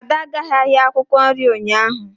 Ada agaghị ahịa akwukwo nri ụnyaahụ.